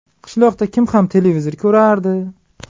Qishloqda kim ham televizor ko‘rardi?